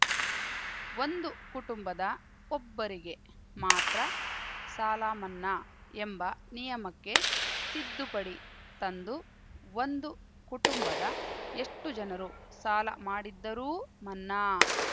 ಒಂದು ಕುಟುಂಬದ ಒಬ್ಬರಿಗೆ ಮಾತ್ರ ಸಾಲ ಮನ್ನಾ ಎಂಬ ನಿಯಮಕ್ಕೆ ತಿದ್ದುಪಡಿ ತಂದು ಒಂದು ಕುಟುಂಬದ ಎಷ್ಟುಜನರು ಸಾಲ ಮಾಡಿದ್ದರೂ ಮನ್ನಾ